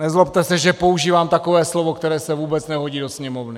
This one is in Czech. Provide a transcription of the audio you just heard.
Nezlobte se, že používám takové slovo, které se vůbec nehodí do Sněmovny.